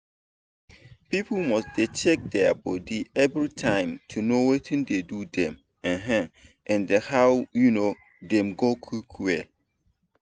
people must dey check dia body everytime to know watin dey do dem um and how um dem go quick well.